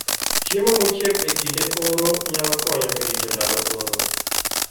Chiemo mochiek e kinde oro nyalo konyo e rito ndalo oro